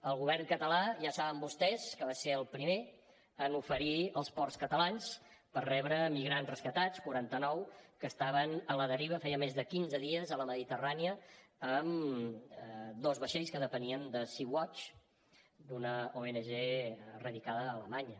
el govern català ja saben vostès que va ser el primer en oferir els ports catalans per rebre migrants rescatats els quaranta nou que estaven a la deriva feia més de quinze dies a la mediterrània en dos vaixells que depenien de sea watch d’una ong radicada a alemanya